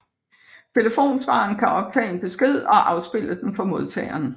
Telefonsvareren kan optage en besked og afspille den for modtageren